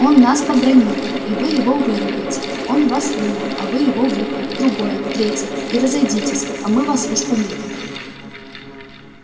он вас побранил и вы его выругайте он вас в рыло а вы его в ухо в другое в третье и разойдитесь а мы вас уж помирим